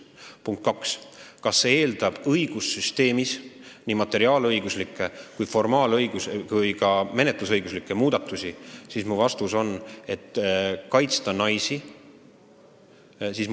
Punkt kaks: kas see eeldab õigussüsteemis nii materiaalõiguslikke kui ka menetlusõiguslikke muudatusi, et kaitsta naisi?